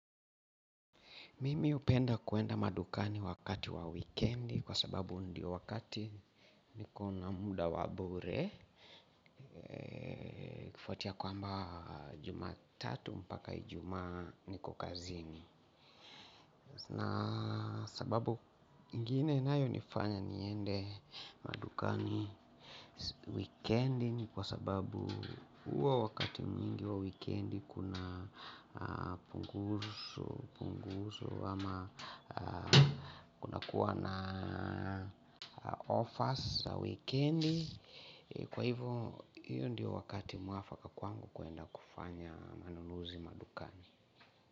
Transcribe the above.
Mimi upenda kuenda madukani wakati wa wikendi kwa sababu ndio wakati niko na muda wa bure ufatia kwamba jumatatu mpaka ijumaa niko kazini. Na sababu ingine inayonifanya niende madukani wikendi ni kwa sababu uwa wakati mwingi wa wikendi kuna punguso ama kuna kuwa na offers za wikendi. Kwa hivyo hiyo ndiyo wakati mwafaka kwangu kuenda kufanya manunuzi madukani.